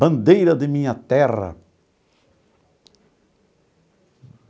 Bandeira de minha terra.